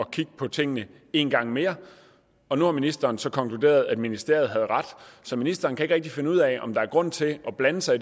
kigge på tingene en gang mere og nu har ministeren så konkluderet at ministeriet havde ret så ministeren kan ikke rigtig finde ud af om der er grund til at blande sig